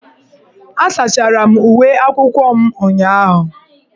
Asachara m uwe akwụkwọ m ụnyahụ.